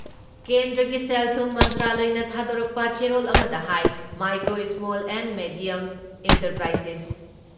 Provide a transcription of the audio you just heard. ꯀꯦꯟꯗ꯭ꯔꯒꯤ ꯁꯦꯜ ꯊꯨꯝ ꯃꯟꯇ꯭ꯔꯥꯂꯌꯅ ꯊꯥꯗꯣꯛꯄ ꯆꯦꯔꯣꯜ ꯑꯃꯗ ꯍꯥꯏ micro small and medium enterprises